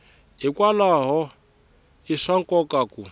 hikwalaho i swa nkoka ku